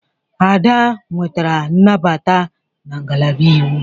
Ada nwetara nnabata na ngalaba Iwu.